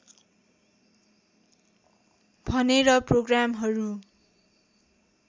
भनेर प्रोग्रामहरू